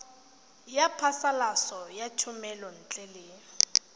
ya phasalatso ya thomelontle le